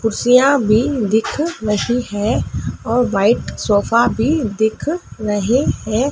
कुर्सियाँ भी दिख रही है और व्हाइट सोफ़ा भी दिख रहे हैं।